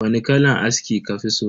Wani kalan aski kafi so?